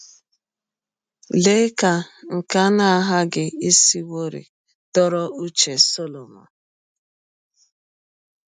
Lee ka nke a na - aghaghị isiwọrị dọrọ ụche Solomọn!